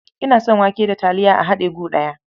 Ina son wake da taliya a haɗe gu ɗaya.